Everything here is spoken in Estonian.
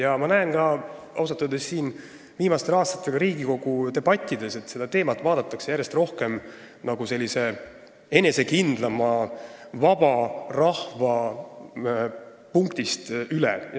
Ausalt öeldes olen ma ka viimastel aastatel Riigikogu debattides näinud, et seda teemat vaadatakse järjest enesekindlamalt, vaba rahva aspektist.